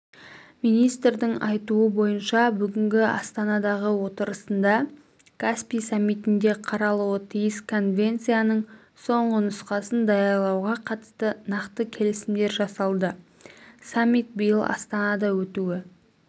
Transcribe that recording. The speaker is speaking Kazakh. министрдің айтуынша бүгінгі астанадағы отырысында каспий саммитінде қаралуы тиіс конвенцияның соңғы нұсқасын даярлауға қатысты нақты келісімдер жасалады саммит биыл астанада өтуі